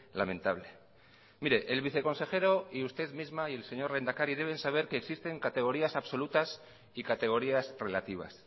lamentable mire el viceconsejero y usted misma y el señor lehendakari deben saber que existen categorías absolutas y categorías relativas